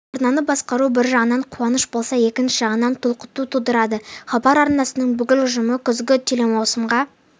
арнаны басқару бір жағынан қуаныш болса екінші жағынан толқу тудырады хабар арнасының бүкіл ұжымы күзгі телемаусымға